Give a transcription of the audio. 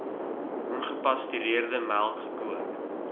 ongepasteuriseerde melk gekook